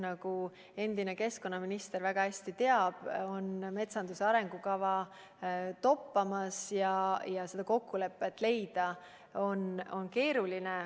Nagu endine keskkonnaminister väga hästi teab, metsanduse arengukava toppab ja seda kokkulepet leida on keeruline.